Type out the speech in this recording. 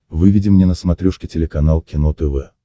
выведи мне на смотрешке телеканал кино тв